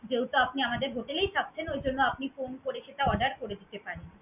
যেহেতু আপনি আমাদের hotel এই থাকছেন ওইজন্য আপনি phone করে সেটা order করে দিতে পারেন।